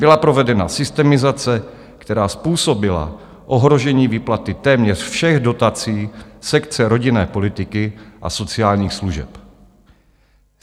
Byla provedena systemizace, která způsobila ohrožení výplaty téměř všech dotací sekce rodinné politiky a sociálních služeb.